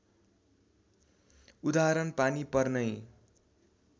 उदाहरण पानी पर्नै